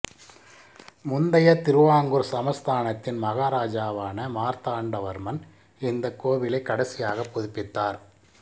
முந்தைய திருவாங்கூர் சமஸ்தான த்தின் மகாராஜாவான மார்த்தாண்ட வர்மன் இந்தக் கோவிலை கடைசியாக புதுப்பித்தார்